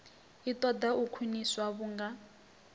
i ṱoḓa u khwiniswa vhunga